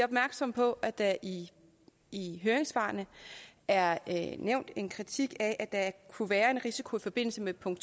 opmærksomme på at der i i høringssvarene er nævnt en kritik af at kunne være en risiko i forbindelse med punkt